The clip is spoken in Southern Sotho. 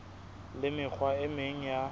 le mekgwa e meng ya